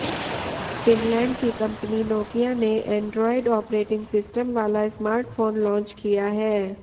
Finland की company Nokia ने Android operating system वाला स्मार्टफोन लांच किया है